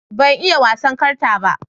Ban iya wasan karta ba.